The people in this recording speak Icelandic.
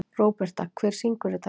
Róberta, hver syngur þetta lag?